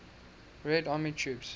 red army troops